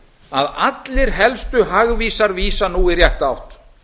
að allir helstu hagvísar vísa nú í rétta átt